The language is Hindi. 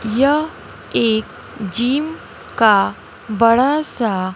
यह एक जिम का बड़ा सा--